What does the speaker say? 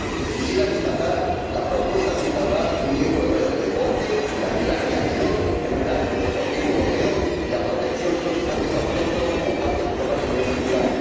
Quisiera destacar la propuesta de instaurar un Día europeo del deporte y también la creación de un Erasmus deportivo europeo, además de la protección de los deportes autóctonos como parte de nuestro patrimonio cultural.